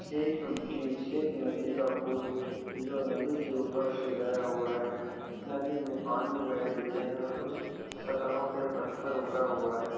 एक ब्रिज एक नदी का पुल जो नदी के ऊपर से गया हुआ है नदी में पानी बह रही है और कुछ सतहों पे पत्थर उभरा हुआ है।